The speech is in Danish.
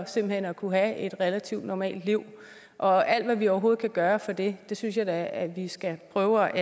simpelt hen at kunne have et relativt normalt liv og alt hvad vi overhovedet kan gøre for det det synes jeg da at vi skal prøve